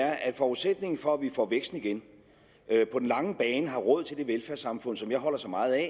er at forudsætningen for at vi får væksten igen og på den lange bane har råd til det velfærdssamfund som jeg holder så meget af